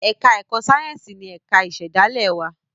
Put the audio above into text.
èka èko Sáyẹnsì ní ẹka ìsèdálè wá